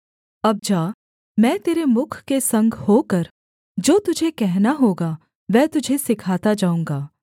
अब जा मैं तेरे मुख के संग होकर जो तुझे कहना होगा वह तुझे सिखाता जाऊँगा